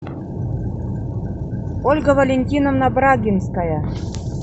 ольга валентиновна брагинская